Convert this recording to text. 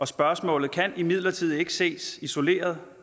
spørgsmål kan imidlertid ikke ses isoleret